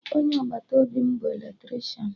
Onye agbata obi m bụ Eletrishan